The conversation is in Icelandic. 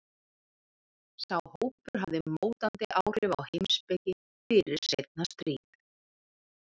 Sá hópur hafði mótandi áhrif á heimspeki fyrir seinna stríð.